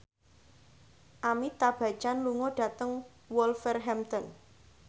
Amitabh Bachchan lunga dhateng Wolverhampton